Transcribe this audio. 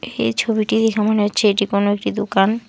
এই ছবিটি দেখে মনে হচ্ছে এটি কোনো একটি দোকান।